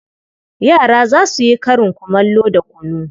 Yara za su yi karin kumallo da kunu.